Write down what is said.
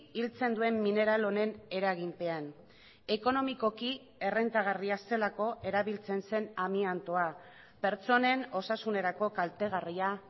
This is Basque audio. hiltzen duen mineral honen eraginpean ekonomikoki errentagarria zelako erabiltzen zen amiantoa pertsonen osasunerako kaltegarria